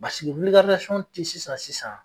Basiki tɛ sisan sisan.